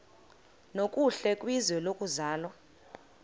nokuhle kwizwe lokuzalwa